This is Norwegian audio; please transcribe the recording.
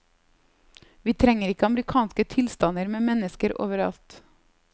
Vi trenger ikke amerikanske tilstander med mennesker overalt.